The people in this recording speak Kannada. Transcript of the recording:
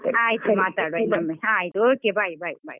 ಆಯ್ತು ಮಾತಾಡುವ ಇನ್ನೊಮ್ಮೆ ಆಯ್ತು, okay bye bye bye .